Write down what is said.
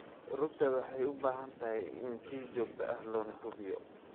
Rugta waxay u baahan tahay in si joogto ah loo hubiyo.